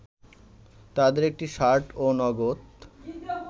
তাদের একটি শার্ট ও নগদ